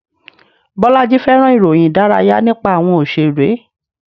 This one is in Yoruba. Bolaji fẹ́ràn ìròyìn Ìdárayá nípa àwọn Òṣèré